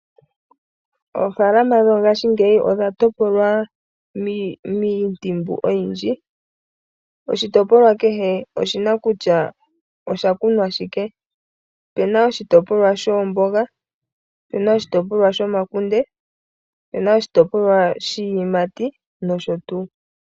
Oofaalama mongashingeyi odha topolwa miimpungu oyindji, oshitopolwa kehe oshina kutya osha kunwa shike. Opuna oshitopolwa shoomboga, shomakunde, shiiyimati nosho tuu.